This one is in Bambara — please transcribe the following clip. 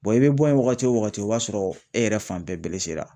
i be bɔ yen wagati o wagati o b'a sɔrɔ e yɛrɛ fan bɛɛ belesera.